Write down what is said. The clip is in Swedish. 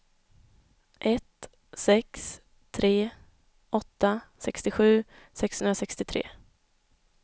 ett sex tre åtta sextiosju sexhundrasextiotre